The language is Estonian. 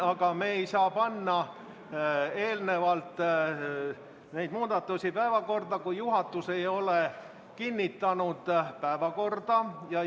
Aga me ei saa panna neid muudatusi päevakorda enne, kui juhatus ei ole päevakorda kinnitanud.